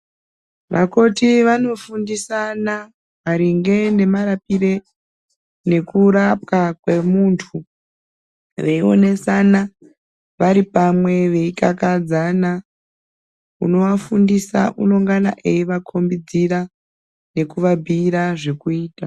Makoti vanofundisana maringe nemarapire nekurapwa kwemuntu veionasana varipamwe veikakadzana unoafundisa unongana eivakombidzira nekuabhuyira zvekuita.